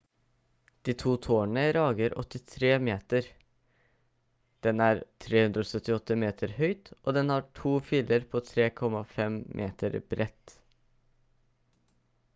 de to tårnene rager 83 meter den er 378 meter høyt og den har to filer på 3,50 m bredt